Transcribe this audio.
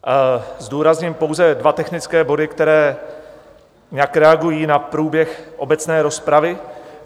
Zdůrazním pouze dva technické body, které nějak reagují na průběh obecné rozpravy.